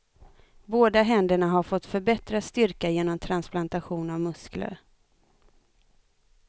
Båda händerna har fått förbättrad styrka genom transplantation av muskler.